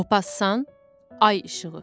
Mopassan Ay işığı.